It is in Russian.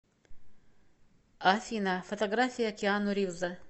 афина фотография киану ривза